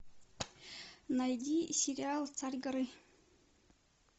найди сериал царь горы